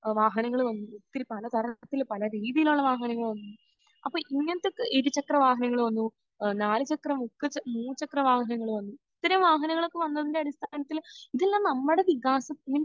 അഹ് വാഹനങ്ങൾ വന്നു. പിന്നെ പല തരം പിന്നെ പല രീതിയിലുള്ള വാഹനങ്ങൾ വന്നു. അപ്പോൾ ഇങ്ങനത്തെ ഇരുചക്രവാഹങ്ങൾ വന്നു. നാലുചക്ര മൂന്നുചക്ര...മുച്ചക്ര വാഹനങ്ങൾ വന്നു. ഇത്രയും വാഹനങ്ങളൊക്കെ വന്നതിന്റെ അടിസ്ഥാനത്തിൽ ഇതെല്ലാം നമ്മുടെ വികാസം മീൻസ്